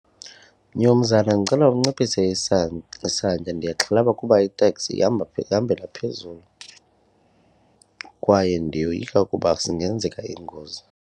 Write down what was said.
Mnumzana, ndicela unciphise isantya ndiyaxhalaba kuba iteksi ihamba ihambela phezulu kwaye ndiyoyika ukuba zingenzeka iingozi.